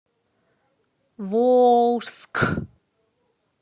волжск